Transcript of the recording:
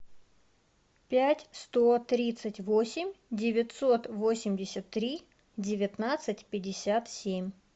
пять сто тридцать восемь девятьсот восемьдесят три девятнадцать пятьдесят семь